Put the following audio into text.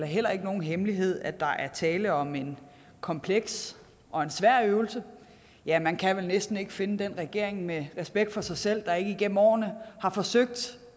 heller ikke nogen hemmelighed at der er tale om en kompleks og en svær øvelse ja man kan vel næsten ikke finde den regering med respekt for sig selv der ikke igennem årene har forsøgt